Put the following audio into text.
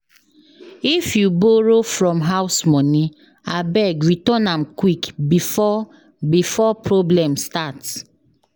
If you borrow from house money, abeg return am quick before before problem start.